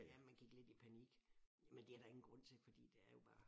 Ja man gik lidt i panik men det er der ingen grund til fordi det er jo bare